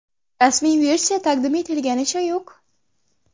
Rasmiy versiya taqdim etilganicha yo‘q.